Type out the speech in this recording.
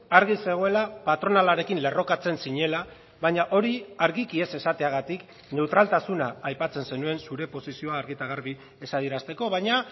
argi zegoela patronalarekin lerrokatzen zinela baina hori argiki ez esateagatik neutraltasuna aipatzen zenuen zure posizioa argi eta garbi ez adierazteko baina